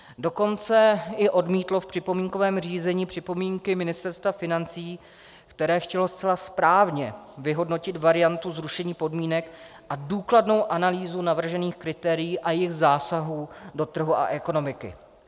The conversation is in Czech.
Dokonce i odmítlo v připomínkovém řízení připomínky Ministerstva financí, které chtělo zcela správně vyhodnotit variantu zrušení podmínek a důkladnou analýzu navržených kritérií a jejich zásahů do trhu a ekonomiky.